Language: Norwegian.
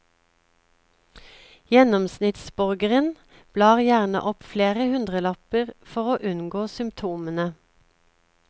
Gjennomsnittsborgeren blar gjerne opp flere hundrelapper for å unngå symptomene.